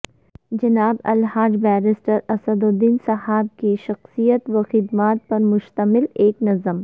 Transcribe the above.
جناب الحاج بیرسٹر اسدالدین صاحب کے شخصیت و خدمات پر مشتمل ایک نظم